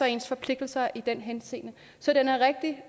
ens forpligtelser er i den henseende så den er rigtig